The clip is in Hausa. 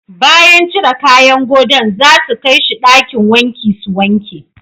Bayan cire kayan godo'n za su kai she dakin wanki su wanke.